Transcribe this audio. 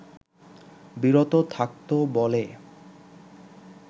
বিরত থাকতো বলে